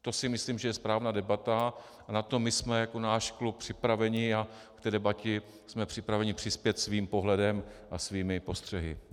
To si myslím, že je správná debata, a na to my jsme jako náš klub připraveni a k té debatě jsme připraveni přispět svým pohledem a svými postřehy.